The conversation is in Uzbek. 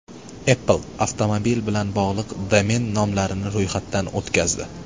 Apple avtomobil bilan bog‘liq domen nomlarini ro‘yxatdan o‘tkazdi.